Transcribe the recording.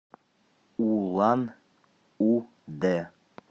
улан удэ